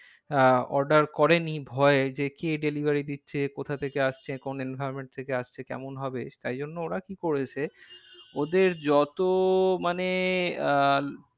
আহ order করেনি ভয়ে যে কে delivery দিচ্ছে? কোথা থেকে আসছে? কোন environment থেকে আসছে? কেমন হবে? তাই জন্য ওরা কি করেছে। ওদের যত মানে আহ